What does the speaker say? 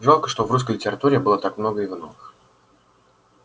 жалко что в русской литературе было так много ивановых